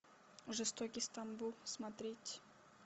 жестокий стамбул смотреть